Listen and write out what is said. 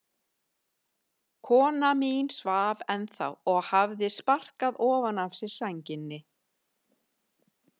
Kona mín svaf ennþá og hafði sparkað ofan af sér sænginni.